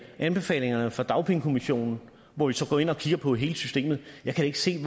anbefalingerne fra dagpengekommissionen hvor vi så går ind og kigger på hele systemet jeg kan ikke se